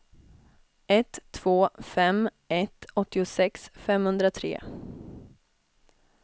ett två fem ett åttiosex femhundratre